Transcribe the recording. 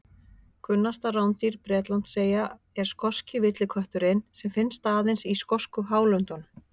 Kunnasta rándýr Bretlandseyja er skoski villikötturinn sem finnst aðeins í skosku hálöndunum.